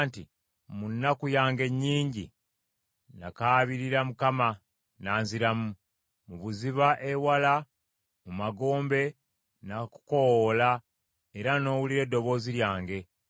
nti, “Mu nnaku yange ennyingi nakaabirira Mukama n’anziramu; mu buziba ewala mu magombe nakukoowoola, era n’owulira eddoboozi lyange!